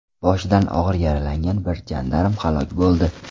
Boshidan og‘ir yaralangan bir jandarm halok bo‘ldi.